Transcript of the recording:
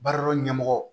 Baara dɔ ɲɛmɔgɔ